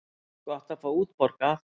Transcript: Gott að fá útborgað!